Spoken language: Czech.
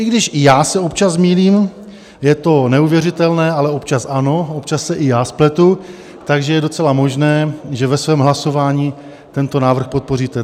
I když i já se občas zmýlím - je to neuvěřitelné, ale občas ano, občas se i já spletu - takže je docela možné, že ve svém hlasování tento návrh podpoříte.